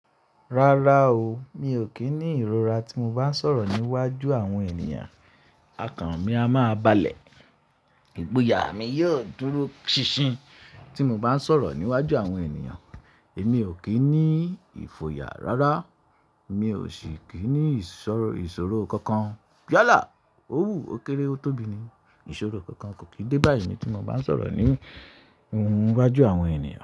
Rárá o, mi ò kí ní ìrora tí mo bá ń sọ̀rọ̀ níwájú àwọn ènìyàn, okàn mi a má balẹ̀, ìgboyà mi yóò dúró ṣinṣin tí mo bá ń sọ̀rọ̀ níwájú àwọn ènìyàn. Èmi ò kí ní ìfoyà rárá, mi ò sì kí ní ìṣòro kankan. Yálà! Ó wù ó kéré ó tóbi ni, ìṣòro kankan kò kí dé bá mi tí mo bá ń sọ̀rọ̀ níwájú àwọn ènìyàn.